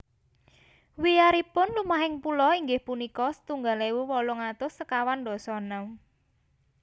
Wiyaripun lumahing pulo inggih punika setunggal ewu wolung atus sekawan dasa enem